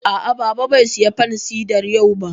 A'a, Baba bai saya fansidar yau ba